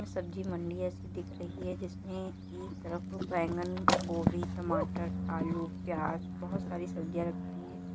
सब्जी मंडी जैसी दिख रही है जिसमे एक तरफ बैंगन गोभी टमाटर आलू प्याज बहुत सारी सब्जियां रखी हैं।